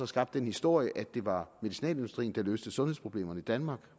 skabt den historie at det var medicinalindustrien der løste sundhedsproblemerne i danmark